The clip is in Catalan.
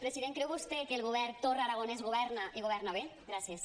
president creu vostè que el govern torra aragonès governa i governa bé gràcies